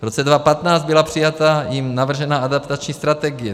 V roce 2015 byla přijata i navržená adaptační strategie.